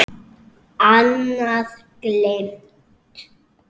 Annað: Gleymt.